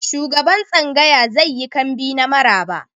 Shugaban tsangaya zai yi kambi na maraba.